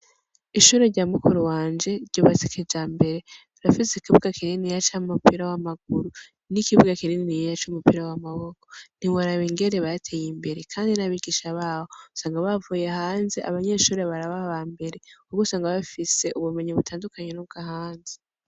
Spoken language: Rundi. Ishure rya mukuru wanje rya ubasike ja mbere rafise ikibuwa kineni ya camupira w'amaguru n'ikibuwa kinenni yenya c'umupira w'amaboko ntiwar aba ingere bateye imbere, kandi n'abigisha bawo usanga bavuye hanze abanyeshure barababa mbere kugo sanga bafise ubumenyi butandukanye n'ubwo hanze.